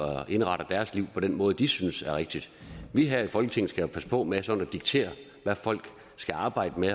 og indretter deres liv på den måde de synes er rigtig vi her i folketinget skal jo passe på med sådan at diktere hvad folk skal arbejde med